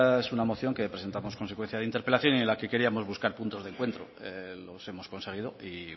bueno esta es una moción que presentamos consecuencia de interpelación y en la que queríamos buscar puntos de encuentro los hemos conseguido y